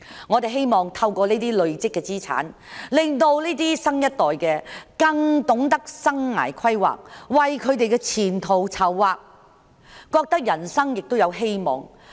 我們希望透過累積資產，令下一代更懂得生涯規劃，為自己的前途籌劃，覺得人生有希望。